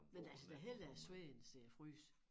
Men altså da hellere svede end øh fryse